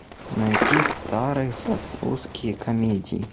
найти старые французские комедии